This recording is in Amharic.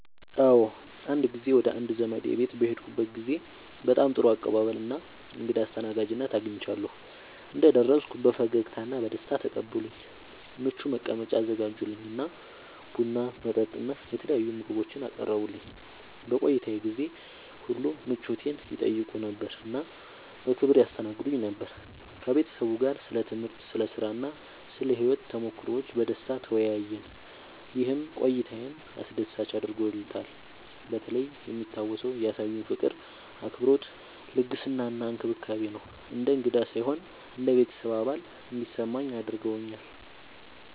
አዎ፣ አንድ ጊዜ ወደ አንድ ዘመዴ ቤት በሄድኩበት ጊዜ በጣም ጥሩ አቀባበል እና እንግዳ አስተናጋጅነት አግኝቻለሁ። እንደደረስኩ በፈገግታ እና በደስታ ተቀበሉኝ፣ ምቹ መቀመጫ አዘጋጁልኝ እና ቡና፣ መጠጥ እና የተለያዩ ምግቦችን አቀረቡልኝ። በቆይታዬ ጊዜ ሁሉ ምቾቴን ይጠይቁ ነበር እና በክብር ያስተናግዱኝ ነበር። ከቤተሰቡ ጋር ስለ ትምህርት፣ ስለ ሥራ እና ስለ ሕይወት ተሞክሮዎች በደስታ ተወያየን፣ ይህም ቆይታዬን አስደሳች አድርጎታልበተለይ የሚታወሰው ያሳዩኝ ፍቅር፣ አክብሮት፣ ልግስና እና እንክብካቤ ነው። እንደ እንግዳ ሳይሆን እንደ ቤተሰብ አባል እንዲሰማኝ አድርገውኛል።